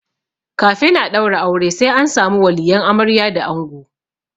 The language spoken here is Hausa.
Kafin a ɗaura aure sai an samu waliyan amarya da ango.